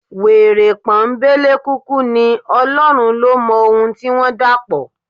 Wèrè pọ́nńbélé kúkú ní, Ọlọ́run ló mọ ohun tí wọ́n dàpọ̀.